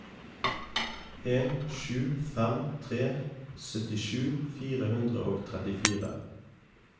en sju fem tre syttisju fire hundre og trettifire